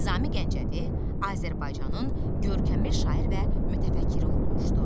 Nizami Gəncəvi Azərbaycanın görkəmli şair və mütəfəkkiri olmuşdu.